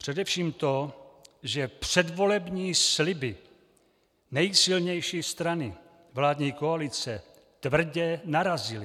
Především to, že předvolební sliby nejsilnější strany vládní koalice tvrdě narazily.